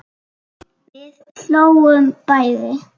Við hlógum bæði.